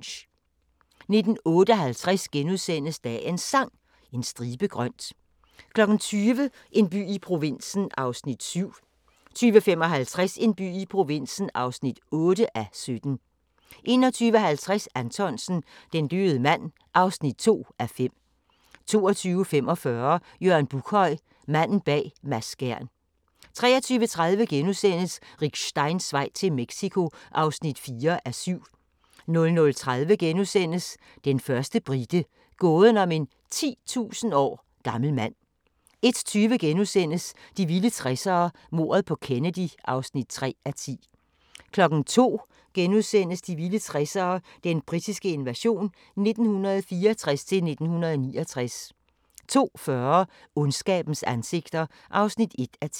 19:56: Dagens Sang: En stribe grønt * 20:00: En by i provinsen (7:17) 20:55: En by i provinsen (8:17) 21:50: Anthonsen - Den døde mand (2:5) 22:45: Jørgen Buckhøj – Manden bag Mads Skjern 23:30: Rick Steins vej til Mexico (4:7)* 00:30: Den første brite – gåden om en 10.000 år gammel mand * 01:20: De vilde 60'ere: Mordet på Kennedy (3:10)* 02:00: De vilde 60'ere: Den britiske invasion 1964-1969 * 02:40: Ondskabens ansigter (1:10)